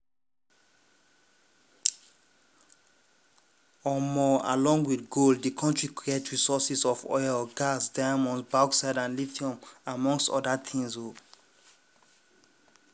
along wit gold di kontri get resources of oil gas diamonds bauxite and lithium among oda tins.